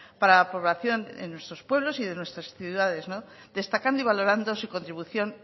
para la población en nuestros pueblos de nuestras ciudades destacando y valorando su contribución